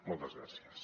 moltes gràcies